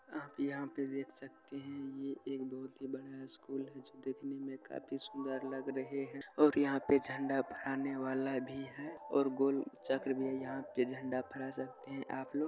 यहां आप देख सकते हैं कि यह एक बहुत बड़ा स्कूल है जो देखने मे काफी सुंदर लग रहे है और यहां पे झंडा फहराने वाला भी है और गोल चक्र भी है यहां पे देख सकते है आपलोग यहां पे झंडा फहरा सकते हैं आपलोग